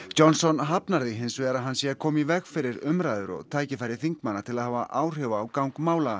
Johnson hafnar því hins vegar að hann sé að koma í veg fyrir umræður og tækifæri þingmanna til að hafa áhrif á gang mála